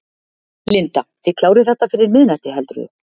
Linda: Þið klárið þetta fyrir miðnætti, heldurðu?